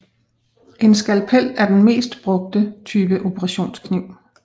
En skalpel er den mest brugte type operationskniv